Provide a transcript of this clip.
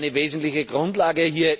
Das wäre eine wesentliche Grundlage.